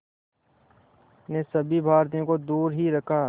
ने सभी भारतीयों को दूर ही रखा